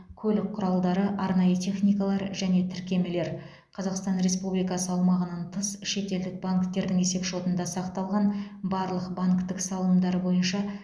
көлік құралдары арнайы техникалар және тіркемелер қазақстан республикасы аумағынан тыс шетелдік банктердің есепшотында сақталған барлық банктік салымдары бойынша